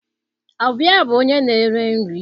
Ọ bụ ya bụ onye na-ere nri?